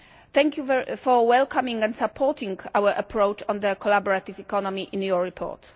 Thank you for welcoming and supporting our approach on the collaborative economy in your report.